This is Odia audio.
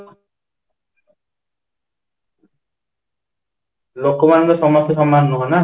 ଲୋକମାନେ ତ ସମସ୍ତେ ସମାନ ନୁହଁ ନା